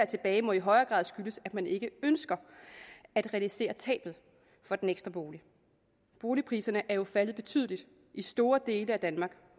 tilbage må i højere grad skyldes at man ikke ønsker at realisere tabet på den ekstra bolig boligpriserne er jo faldet betydeligt i store dele af danmark